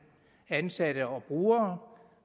ansatte og brugere